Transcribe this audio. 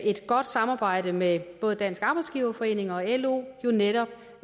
et godt samarbejde med både dansk arbejdsgiverforening og lo netop